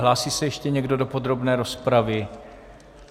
Hlásí se ještě někdo do podrobné rozpravy?